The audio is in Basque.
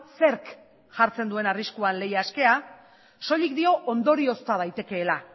zerk jartzen duen arriskuan lehia askea soilik dio ondoriozta daitekeela